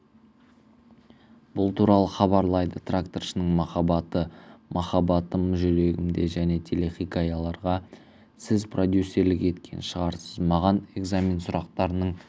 бұл туралы хабарлайды тракторшының махаббаты махаббатым жүрегімде және телехикаяларға сіз продюсерлік еткен шығарсыз маған экзамен сұрақтарының